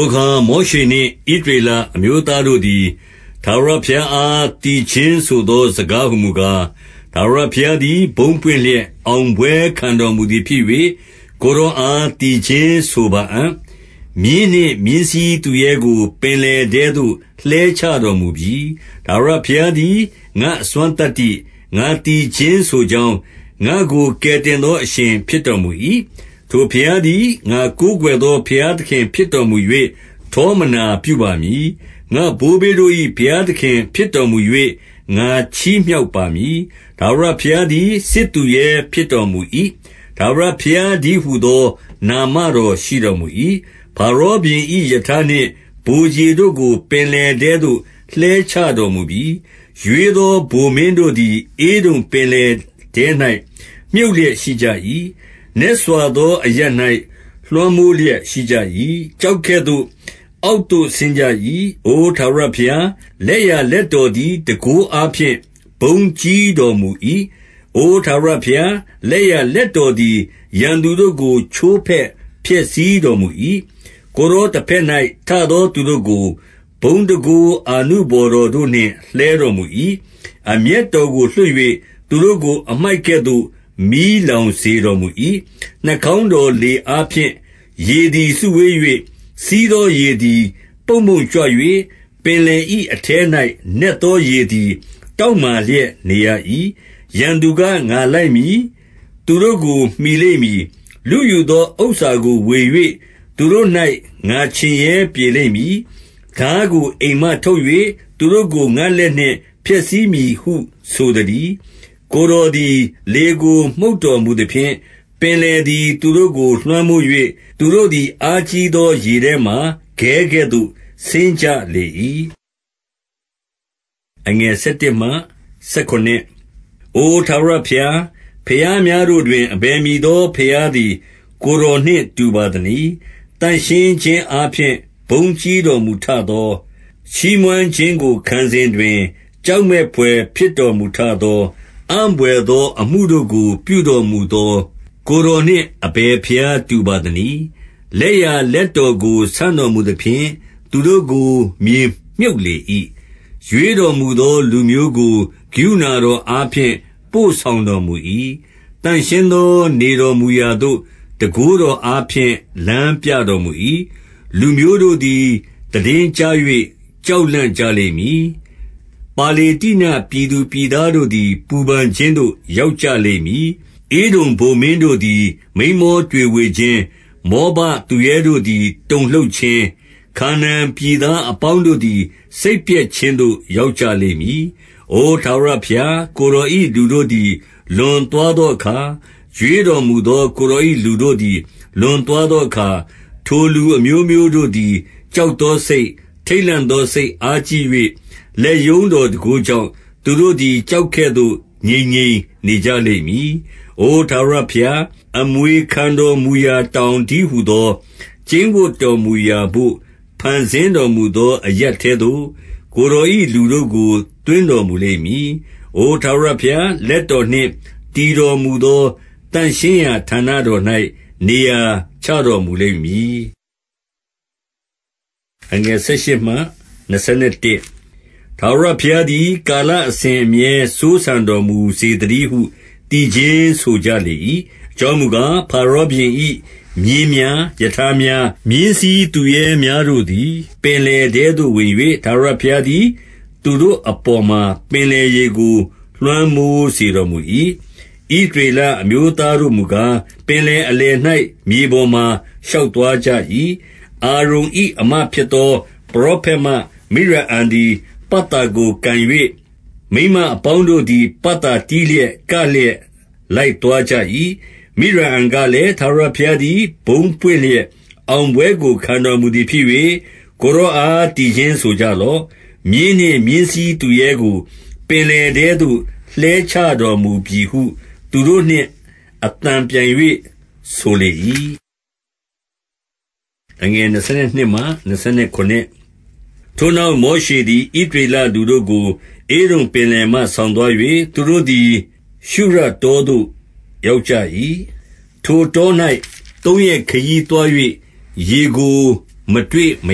ိုအခါ မောရှေနှင့် ဣသရေလအမျိုးသားတို့သည်၊ ထာဝရဘုရားအား သီချင်းဆိုသော စကား ဟူမူကား၊ ထာဝရဘုရားသည် ဘုန်းပွင့်လျက် အောင်ပွဲခံတော်မူသည်ဖြစ်၍၊ ကိုယ်တော်အား သီချင်းဆိုပါအံ့။ မြင်းနှင့် မြင်းစီးသူရဲကို ပင်လယ်ထဲသို့ လှဲချတော်မူပြီ။ 2 ထာဝရဘုရားသည် ငါ့အစွမ်းသတ္တိ၊ ငါသီချင်းဆိုကြောင်း၊ ငါ့ကို ကယ်တင်သော အရှင်ဖြစ်တော်မူ၏။ ထိုဘုရားသည် ငါကိုးကွယ်သော ဘုရားသခင် ဖြစ်တော်မူ၍၊ ထောမနာပြုပါမည်။ ငါ့ဘိုးဘေးတို့၏ ဘုရားသခင် ဖြစ်တော်မူ၍၊ ငါချီးမြှောက်ပါမည်။ 3 ထာဝရဘုရားသည် စစ်သူရဲဖြစ်တော်မူ၏။ ထာဝရဘုရားတည်းဟူသော နာမတော်ရှိတော်မူ၏။ 4 ဖာရောဘုရင်၏ ရထားနှင့် ဗိုလ်ခြေတို့ကို ပင်လယ်ထဲသို့ လှဲချတော်မူပြီ။ ရွေးသော ဗိုလ်မင်းတို့သည်၊ ဧဒုံပင်လယ်ထဲ၌ မြုပ်လျက်ရှိကြ၏။ 5 နက်စွာသောအရပ်၌ လွှမ်းမိုးလျက်ရှိကြ၏။ ကျောက်ကဲ့သို့ အောက်သို့ဆင်းကြ၏။ 6 အို ထာဝရဘုရား၊ လက်ျာလက်တော်သည် တန်ခိုးအားဖြင့် ဘုန်းကြီးတော်မူ၏။ အို ထာဝရဘုရား၊ လက်ျာလက်တော်သည် ရန်သူတို့ကို ချိုးဖဲ့ဖျက်ဆီးတော်မူ၏။ 7 ကိုယ်တော် တဘက်၌ ထသောသူတို့ကို၊ ဘုန်းတန်ခိုးအာနုဘော်တော်တို့နှင့် လှဲတော်မူ၏။ အမျက်တော်ကို လွှတ်၍၊ သူတို့ကို အမှိုက်ကဲ့သို့ မီးလောင်စေတော်မူ၏။ 8 နှာခေါင်းတော်လေအားဖြင့် ရေသည် စုဝေး၍၊ စီးသောရေသည် ပုံ့ပုံ့ကြွ၍၊ ပင်လယ်၏အထဲ၌ပင် နက်သောရေသည် တောင့်မာလျက်နေရ၏။ 9 ရန်သူက၊ ငါလိုက်မည်။ သူတို့ကို မှီလိမ့်မည်။ လုယူသောဥစ္စာကို ဝေ၍ သူတို့၌ ငါချင်ရဲပြေလိမ့်မည်။ ထားကို အိမ်မှ ထုတ်၍ သူတို့ကို ငါ့လက်နှင့် ဖျက်ဆီးမည်ဟု ဆိုသတည်း။ 10 ကိုယ်တော်သည် လေကို မှုတ်တော်မူသဖြင့်၊ ပင်လယ်သည် သူတို့ကို လွှမ်းမိုး၍ သူတို့သည် အားကြီးသောရေထဲမှာ ခဲကဲ့သို့ ဆင်းကြလေ၏။ 11 အို ထာဝရဘုရား၊ ဘုရားများတို့တွင် အဘယ်မည်သော ဘုရားသည် ကိုယ်တော်နှင့်တူပါသနည်း။ သန့်ရှင်းခြင်းအားဖြင့် ဘုန်းကြီးတော်မူထသော၊ ချီးမွမ်းခြင်းကို ခံစဉ်တွင်၊ ကြောက်မက်ဘွယ် ဖြစ်တော်မူထသော၊ အံ့ဘွယ်သောအမှုတို့ကို ပြုတော်မူသော၊ ကိုယ်တော်နှင့် အဘယ်ဘုရား တူပါသနည်း။ 12 လက်ျာလက်တော်ကို ဆန့်တော်မူသဖြင့်၊ သူတို့ကို မြေမြှုပ်လေ၏။ 13 ရွေးတော်မူသော လူမျိုးကို ကရုဏာတော်အားဖြင့် ပို့ဆောင်တော်မူ၏။ သန့်ရှင်းသော နေတော်မူရာသို့ တန်ခိုးတော်အားဖြင့် လမ်းပြတော်မူ၏။ 14 လူမျိုးတို့သည် သိတင်းကြား၍ ကြောက်လန့်ကြလိမ့်မည်။ ပါလေတ္တိနပြည်သူပြည်သားတို့သည် ပူပန်ခြင်းသို့ ရောက်ကြလိမ့်မည်။ 15 ဧဒုံဗိုလ်တို့သည် မိန်းမောတွေဝေခြင်း၊ မောဘသူရဲတို့သည် တုန်လှုပ်ခြင်း၊ ခါနာန်ပြည်သားအပေါင်းတို့ သည် စိတ်ပျက်ခြင်းသို့ ရောက်ကြလိမ့်မည်။ 16 အို ထာဝရဘုရား၊ ကိုယ်တော်၏လူတို့သည် လွန်သွားသောအခါ၊ ရွေးတော်မူသော ကိုယ်တော်၏လူတို့ သည် လွန်သွားသောအခါ၊ ထိုလူအမျိုးမျိုးတို့သည် ကြောက်သောစိတ်၊ ထိတ်လန့်သောစိတ်အားကြီး၍ လက်ရုံးတော်တန်ခိုးကြောင့်၊ သူတို့သည် ကျောက်ကဲ့သို့ ငြိမ်ငြိမ်နေကြလိမ့်မည်။ 17 အို ထာဝရဘုရား၊ အမွေခံတော်မူရာ တောင်တည်းဟူသော ကျိန်းဝပ်တော်မူရာဘို့ ဖန်ဆင်းတော်မူ သော အရပ်ထဲသို့ ကိုယ်တော်၏လူတို့ကို သွင်းတော်မူလိမ့်မည်။ အို ထာဝရဘုရား၊ လက်တော်နှင့် တည်တော်မူ သော သန့်ရှင်းရာဌာနတော်၌ နေရာချတော်မူလိမ့်မည်။ 18 ထာဝရဘုရားသည် ကာလအစဉ်အမြဲ စိုးစံတော်မူစေသတည်းဟု သီချင်းဆိုကြလေ၏။ 19 အကြောင်းမူကား၊ ဖာရောဘုရင်၏ မြင်းများ၊ ရထားများ၊ မြင်းစီးသူရဲများတို့သည် ပင်လယ်ထဲသို့ဝင်၍၊ ထာဝရဘုရားသည် သူတို့အပေါ်မှာ ပင်လယ်ရေကို လွှမ်းမိုးစေတော်မူ၏။ ဣသရေလအမျိုးသားတို့မူကား၊ ပင်လယ်အလယ်၌ မြေပေါ်မှာ ရှောက်သွားကြ၏။ 20 အာရုန်၏ အစ်မဖြစ်သော ပရောဖက်မ မိရိအံသည် ပတ်သာကို ကိုင်၍၊ မိန်းမအပေါင်းတို့သည် ပတ်သာတီးလျက် ကလျက် လိုက်သွားကြ၏။ 21 မိရိအံကလည်း၊ ထာဝရဘုရားသည် ဘုန်းပွင့်လျက် အောင်ပွဲကို ခံတော်မူသည်ဖြစ်၍၊ ကိုယ်တော်အား သီချင်းဆိုကြလော့။ မြင်းနှင့် မြင်းစီးသူရဲကို ပင်လယ်ထဲသို့ လှဲချတော်မူပြီဟု သူတို့နှင့် အသံပြိုင်၍ ဆိုလေ၏။ 22 ထိုနောက် မောရှေသည် ဣသရေလလူတို့ကို၊ ဧဒုံပင်လယ်မှ ဆောင်သွား၍၊ သူတို့သည် ရှုရတောသို့ ရောက်ကြ၏။ ထိုတော၌ သုံးရက်ခရီးသွား၍ ရေကို မတွေ့မ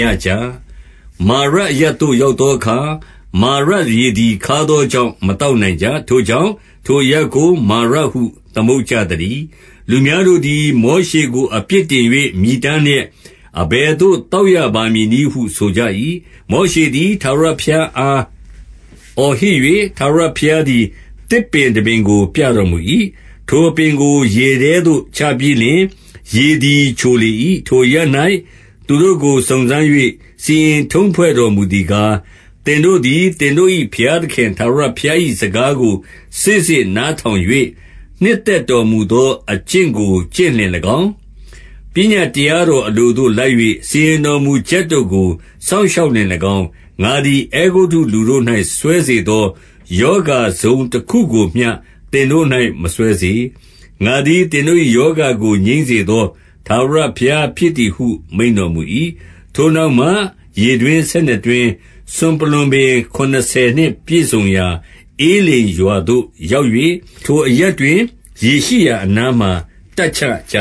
ရကြ။ 23 မာရအရပ်သို့ရောက်သောအခါ၊ မာရရေသည် ခါးသောကြောင့် မသောက်နိုင်ကြ။ ထိုကြောင့် ထိုအရပ်ကို မာရဟု သမုတ်ကြသတည်း။ 24 လူများတို့သည် မောရှေကို အပြစ်တင်၍ မြည်တမ်းလျက်၊ အဘယ်သို့ သောက်ရပါမည်နည်းဟု ဆိုကြ၏။ 25 မောရှေသည် ထာဝရဘုရားအား အော်ဟစ်၍ ထာဝရဘုရားသည် သစ်ပင်တပင်ကို ပြတော်မူ၏။ ထိုအပင်ကို ရေထဲသို့ ချပြီးလျှင်၊ ရေသည် ချိုလေ၏။ ထိုအရပ်၌ သူတို့ကို စုံစမ်း၍ စီရင်ထုံးဖွဲ့တော်မူသည်ကား၊ 26 သင်တို့သည် သင်တို့၏ ဘုရားသခင် ထာဝရဘုရား၏ စကားကို စေ့စေ့နားထောင်၍ နှစ်သက်တော်မူ သောအကျင့်ကို ကျင့်လျှင်၎င်း၊ ပညတ်တရားတော်အလိုသို့ လိုက်၍ စီရင်တော်မူချက်တို့ကို စောင့်ရှောက်လျှင် ၎င်း၊ ငါသည် အဲဂုတ္တုလူတို့၌ စွဲစေသော ရောဂါတစုံတခုကိုမျှ သင်တို့၌ မစွဲစေ။ ငါသည် သင်တို့၏ ရောဂါကို ငြိမ်းစေသော ထာဝရဘုရားဖြစ်သည်ဟု မိန့်တော်မူ၏။ 27 ထိုနောက်မှ ရေတွင်းဆယ်နှစ်တွင်း၊ စွန်ပလွံပင် ခုနစ်ဆယ်နှင့် ပြည့်စုံရာ ဧလိမ်ရွာသို့ရောက်၍၊ ထိုအရပ်တွင် ရေရှိရာအနားမှာ တပ်ချကြ